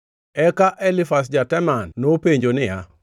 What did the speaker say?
Eka Elifaz ja-Teman nopenjo niya,